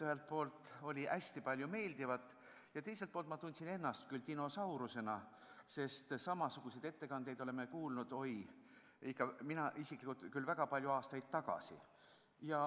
Ühelt poolt oli ettekandes hästi palju meeldivat ja teiselt poolt ma tundsin ennast dinosaurusena, sest samasuguseid ettekandeid olen mina isiklikult kuulnud ikka juba väga palju aastaid tagasi.